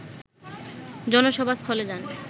জনসভা স্থলে যান